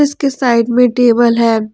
उसके साइड में टेबल है।